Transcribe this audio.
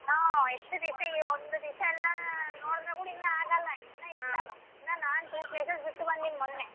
ಆ ಎಷ್ಟ್ ದಿಸ ಈ ಒಂದು ದಿಸ ಎಲ್ಲಾ ನೋಡಿದ್ರ ಕೂಡ ಇನ್ನ ಆಗಲ್ಲ. ಇನ್ನ ನಾನ್ two places ಬಂದೀನಿ ಮೊನ್ನೆ.